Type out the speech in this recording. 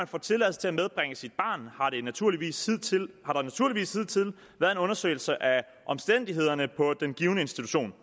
får tilladelse til at medbringe sit barn har der naturligvis hidtil været en undersøgelse af omstændighederne på den givne institution